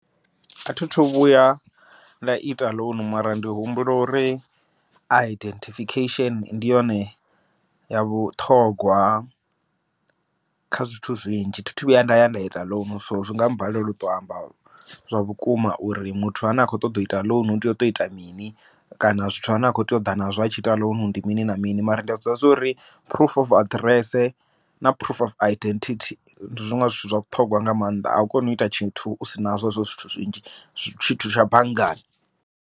Athi thu vhuya nda ita ḽounu mara ndi humbula uri identification ndi yone ya vhuṱhogwa, kha zwithu zwinzhi thi thu vhuya nda ya nda ita ḽounu, so zwi nga balela uto amba zwa vhukuma uri muthu ane a kho ṱoḓa u ita ḽounu u tea uto ita mini. Kana zwithu zwine a kho tea u ḓa nazwo a tshi ita ḽounu ndi mini na mini, mara ndi a zwiḓivha zwori phurufu of aḓirese na phurufu of identity ndi zwiṅwe zwithu zwa vhuṱhogwa nga maanḓa, a u koni u ita tshithu u si na nazwo hezwo zwithu zwinzhi tshithu tsha banngani.